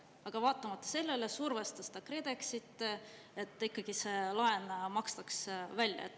Aga vaatamata sellele survestas ta KredExit, et ikkagi see laen makstaks välja.